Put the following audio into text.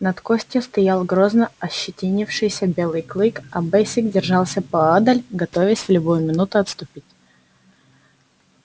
над костью стоял грозно ощетинившийся белый клык а бэсик держался поодаль готовясь в любую минуту отступить